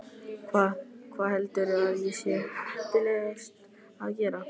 Hvað, hvað heldurðu að sé heppilegast að gera?